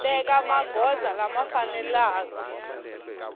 teka magoza lama faneleke ku